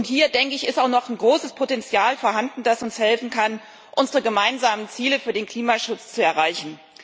Hier denke ich, ist auch noch ein großes Potenzial vorhanden, das uns helfen kann, unsere gemeinsamen Ziele für den Klimaschutz zu erreichen.